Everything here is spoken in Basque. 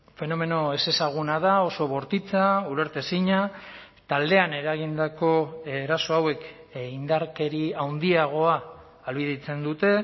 fenomeno ezezaguna da oso bortitza ulertezina taldean eragindako eraso hauek indarkeria handiagoa ahalbidetzen dute